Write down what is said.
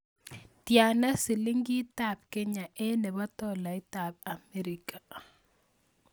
Tiana silingitab Kenya eng' nebo tolaitab America